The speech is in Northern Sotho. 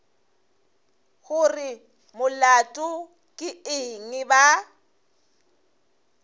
gore molato ke eng ba